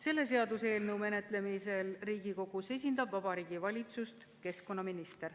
Selle seaduseelnõu menetlemisel Riigikogus esindab Vabariigi Valitsust keskkonnaminister.